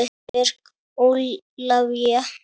Björg Ólavía.